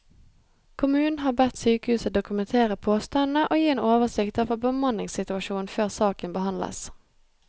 Kommunen har bedt sykehuset dokumentere påstandene og gi en oversikt over bemanningssituasjonen før saken behandles.